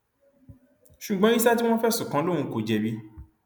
ṣùgbọn yísà tí wọn fẹsùn kàn lòun kò jẹbi